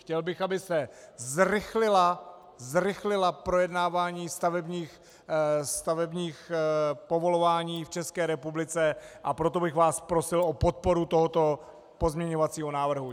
Chtěl bych, aby se zrychlilo projednávání stavebních povolování v České republice, a proto bych vás prosil o podporu tohoto pozměňovacího návrhu.